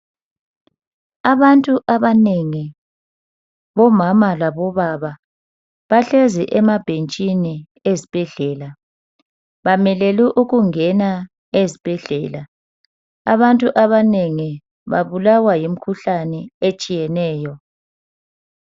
Abantu abanengi bomama labobaba bahlezi emabhentshini ezibhedlela. Bamelelu ukungena ezibhedlela. Abantu abanengi babulawa yimkhuhlane etshiyeneyo.